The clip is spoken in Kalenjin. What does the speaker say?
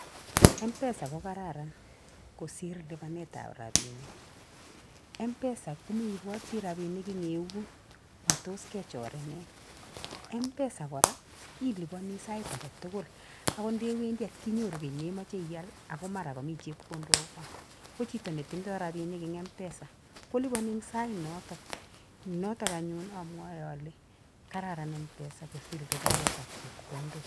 M-pesa ko kararn kosir lipanetab robinik. M-pesa ko meiboti robinik eng keut matos kechoreni. M-pesa kora liipani saait agetugul akot ndewendii kotinyoru nemachei iyaal ako mara kamii chepkondok gaa. Ko chito netindoi robinik eng m-pesa kolipani eng saat noto. Noto anyun amwae ale kararan m-pesa kosir lipanetab chepkondok.